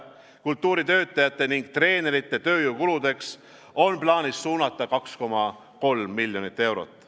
Kultuuritöötajate ning treenerite tööjõukuludeks on plaanis suunata 2,3 miljonit eurot.